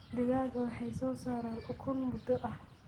Digaagga waxay soo saaraan ukun muddo ah.